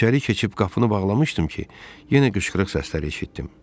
İçəri keçib qapını bağlamışdım ki, yenə qışqırıq səsləri eşitdim.